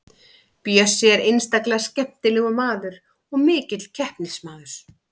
Bjössi er einstaklega skemmtilegur maður og mikill keppnismaður.